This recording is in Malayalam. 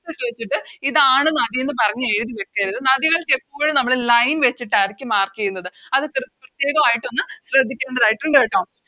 ട്ട് ഇതാണ് നദി എന്ന് പറഞ്ഞ് എഴിതി വെക്കരുത് നദികൾക്ക് എപ്പോഴും നമ്മള് Line വെച്ചിട്ടാരിക്കും Mark ചെയ്യുന്നത് അത് പ്രത്യേകവയിട്ടൊന്ന് ശ്രെദ്ധിക്കേണ്ടതായിട്ടുണ്ട് കേട്ടോ